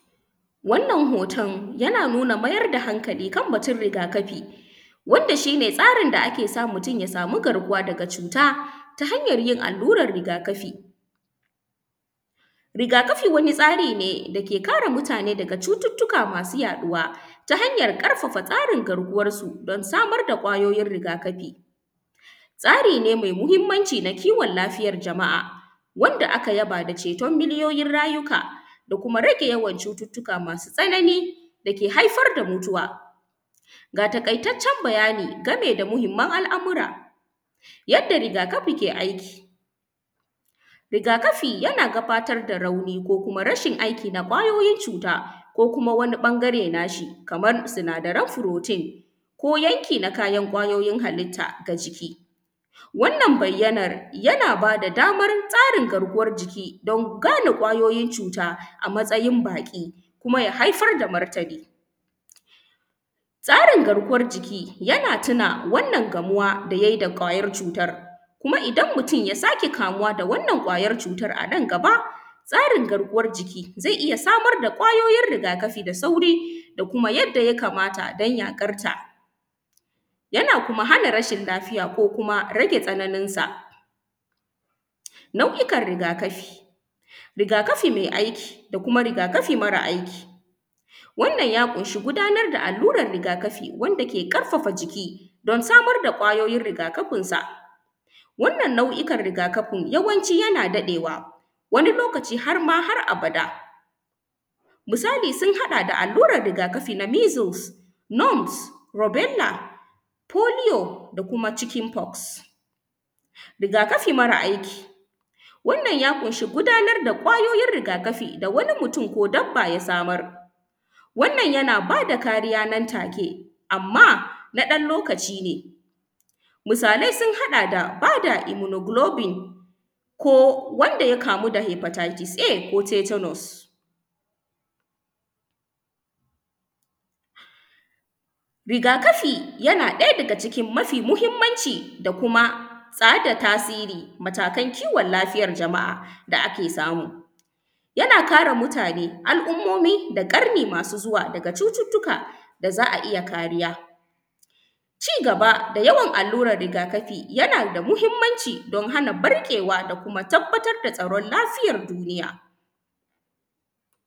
Wannan hoton yana nuna mayar da hankali kan riga kafi wanda shi ne tsarin da yake sa mutun ya sama garkuwa daga cuta ta hanyan yin alluran rigakafi. Rigakafi wani tsari ne dake kare mutane daga cututtuka daga yaɗuwa ta hanyan ƙarfafa tsarin garkuwansu don samar da kwayoyin rigakafi, tsarina me muhinmanci na lafiyan jama’a wanda aka raba da cetun rayuka da kuma rage yawan cututtuka masu tsanani dake haifar da mutuwa. Ga taƙaitaccen bayani dangane da muhinman al’amura yanda rigakafi ke aiki, rigakafi yana gudanar da rauni ko rashin aiki na kwayoyin cuta ko kuma wani ɓangare nashi kaman sinadaren protein ko yanki na kayan kwayoyin halitta na ciki, wannan bayyanan yana ba da daman tsarin jiki don gane kwayoyin cuta a matsayin baƙi ko ya haifar da martini, tsarin garkuwan jiki yana tuna wannan kamuwa da kwayar cutan kuma idan mutum ya ƙara kamuwa da wannan kwayar cutan nan gaba. Tsarin garkuwan jiki zai iya samar da kwayoyin rigakafi da sauri da kuma yanda ya kamata don yaƙanta, yana kuma hana rashin lafiya ko kuma rage tsananinsa. Nau’ikan rigakafi, rigakafi mai aiki da kuma rigakafi mara aiki, wannan ya ƙunshi gudanar da alluran rigakafi wanda ke ƙarfafa jiki, samar da kwayoyin rigakafinsa, wannan nau’ikan rigakafin yawanci yana daɗewa wani lokaci har ma har abada misali sun haɗa: da alluran rigakafi na miseals, noms, rabinda, polio da kuma chikinfox. Rigakafi mara aiki wannan ya ƙunshi gudanar da kwayoyin rigakafi wani mutun ko dabba ya samar wannan yana bada kariya nan take amma na ɗan lokaci ne misalai sun haɗa da ba da iminognopin ko wanda ya kamu da hypertises A ko tetanus, rigakafi na ɗaya daga cikin mafi mahinmanci kuma har da tasirin matakan kiwon lafiyan jama’a da ake samu yana kare mutane, al’ummumi da ƙarni masu zuwa daga cututtuka da za a iya kariya, ci gaba da yawan rigakafi yana da muhinmanci don hana ɓarkewa da kuma tabbatar da tsaron lafiyan duniya.